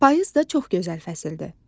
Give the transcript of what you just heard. Payız da çox gözəl fəsildir.